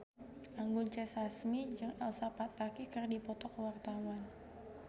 Anggun C. Sasmi jeung Elsa Pataky keur dipoto ku wartawan